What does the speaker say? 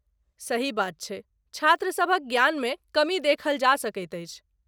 सही बात छै ,छात्रसभक ज्ञानमे कमी देखल जा सकैत अछि।